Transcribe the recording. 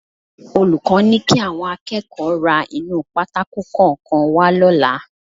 Olùkọ́ ni kí àwọn akẹ́kọ̀ọ́ ra inú pátákò kọ̀ọ̀kan wá lọ́la